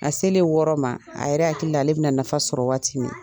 A selen o wɔɔrɔ ma a yɛrɛ hakili la ale bɛna na nafa sɔrɔ waati min